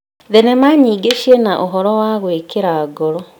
Thenema nyingĩ cina ũhoro wa gũĩkĩra ngoro.